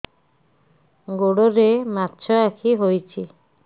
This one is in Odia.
ଗୋଡ଼ରେ ମାଛଆଖି ହୋଇଛି